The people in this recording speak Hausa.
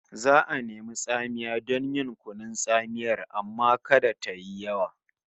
Za'a nemi tsamiya don yin kunun tsamiyar amma kada tayi yawa